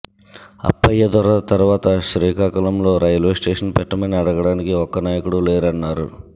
అప్పయ్యదొర తర్వాత శ్రీకాకుళంలో railway station పెట్టమని అడగడానికి ఒక్కనాయకుడు లేరన్నారు